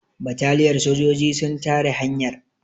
bataliyar sojoji sun tare hanyar